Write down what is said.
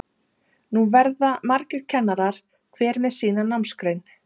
Nú verða margir kennarar, hver með sína námsgrein.